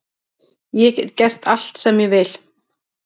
Ég get gert allt sem ég vil.